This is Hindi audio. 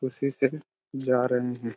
उसी से जा रहे है|